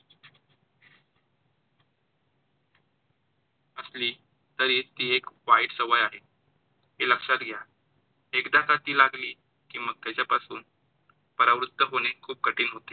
असली तरी ती एक वाईट सवय आहे. हे लक्षात घ्या. एकदा का ती लागली कि मग त्याच्यापासून परावृत्त होणे खूप कठीण होते.